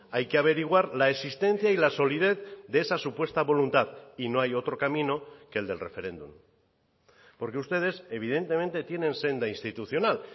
hay que averiguar la existencia y la solidez de esa supuesta voluntad y no hay otro camino que el del referéndum porque ustedes evidentemente tienen senda institucional